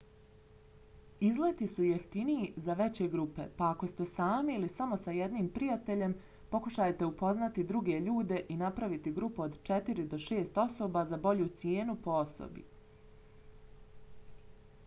izleti su jeftiniji za veće grupe pa ako ste sami ili sa samo jednim prijateljem pokušajte upoznati druge ljude i napraviti grupu od četiri do šest osoba za bolju cijenu po osobi